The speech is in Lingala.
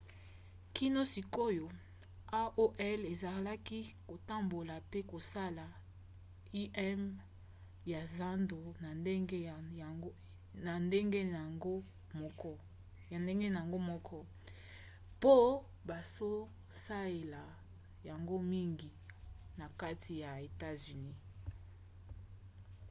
kino sikoyo aol ezalaki kotambola pe kosala im ya zando na ndenge na yango moko po bazosaela yango mingi na kati ya etats-unis